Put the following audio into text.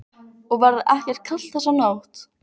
Og verður ekki kalt þessa nótt.